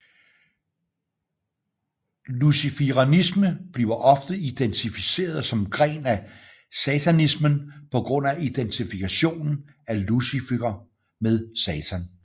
Luciferianisme bliver ofte identificeret som gren af satanismen på grund af identifikationen af Lucifer med Satan